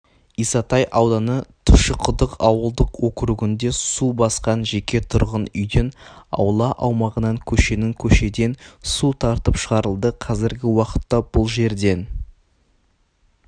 исатай ауданы тұщықұдық ауылдық округінде су басқан жеке тұрғын үйден аула аумағынан көшенің көшеден су тартып шығарылды қазіргі уақытта бұл жерден